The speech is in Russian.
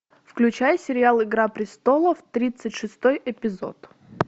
включай сериал игра престолов тридцать шестой эпизод